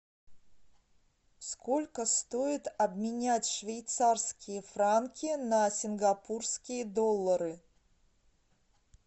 сколько стоит обменять швейцарские франки на сингапурские доллары